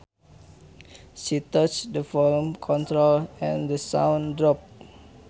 She touched the volume control and the sound dropped